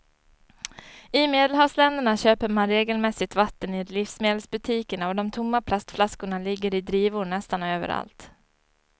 I medelhavsländerna köper man regelmässigt vatten i livsmedelsbutikerna och de tomma plastflaskorna ligger i drivor nästan överallt.